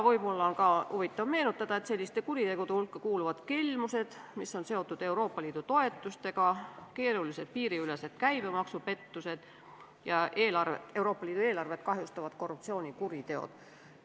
Võib-olla on ka huvitav märkida, et selliste kuritegude hulka kuuluvad kelmused, mis on seotud Euroopa Liidu toetustega, keerulised piiriülesed käibemaksupettused ja Euroopa Liidu eelarvet kahjustavad korruptsioonikuriteod.